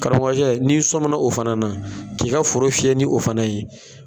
Karamɔgɔkɛ n'i sɔmina o fana na, k'i ka foro fiyɛ ni o fana ye